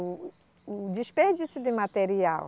O, o desperdício de material.